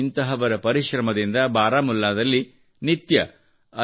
ಇಂಥವರ ಪರಿಶ್ರಮದಿಂದ ಬಾರಾಮುಲ್ಲಾದಲ್ಲಿ ನಿತ್ಯ 5